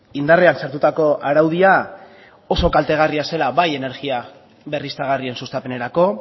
indarrean sartutako araudia oso kaltegarria zela bai energia berriztagarrien sustapenerako